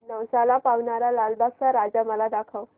नवसाला पावणारा लालबागचा राजा मला दाखव